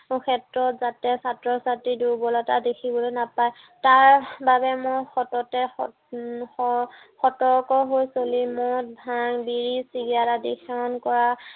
ক্ষেত্ৰত যাতে ছাত্ৰ-ছাত্ৰীৰ দুৰ্বলতা দেখিবলৈ নাপায় তাৰ বাবে মই সততে উম সতৰকে হৈ চলিম। মদ ভাং বিড়ি চিগাৰেট আদি সেৱন কৰা